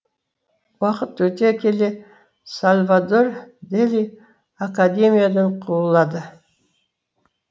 уақыт өте келе сальвадор дели академиядан қуылады